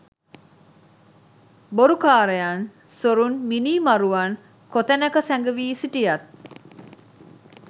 බොරුකාරයන්, සොරුන්, මිනීමරුවන් කොතැනක සැඟවී සිටියත්,